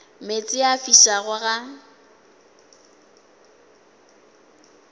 meetse a a fišago ga